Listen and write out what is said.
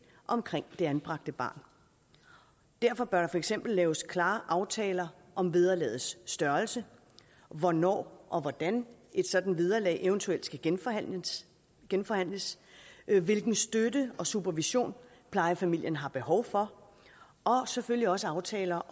omkring det anbragte barn derfor bør der for eksempel laves klare aftaler om vederlagets størrelse hvornår og hvordan et sådant vederlag eventuelt skal genforhandles genforhandles hvilken støtte og supervision plejefamilien har behov for og selvfølgelig også aftaler